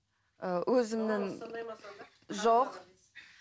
ыыы өзімнің жоқ